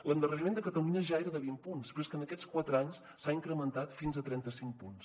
l’endarreriment de catalunya ja era de vint punts però és que en aquests quatre anys s’ha incrementat fins a trenta cinc punts